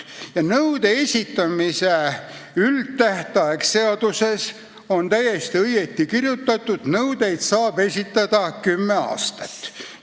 Ja nõude esitamise üldtähtaeg seaduses on täiesti õigesti kirjas: nõudeid saab esitada kümme aastat.